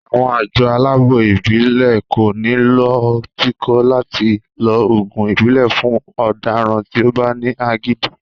Àwọn àjọ aláàbò ìbílè ko ní lọ tìkò láti lo oògùn ìbílè fún ọdaràn tí o bá ní agídí